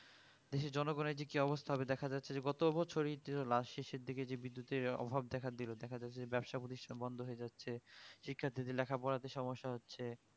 দেশের জনগণের যে কি অবস্থা হবে দেখা যাচ্ছে যে গতবছরই last শেষের দিকে যে বিদ্যুতের অভাব দেখা দিলো দেখা যাচ্ছে যে ব্যবসা প্রতিষ্ঠান বন্ধ হয়ে যাচ্ছে শিক্ষার দিকে লেখাপড়া তে সমস্যা হচ্ছে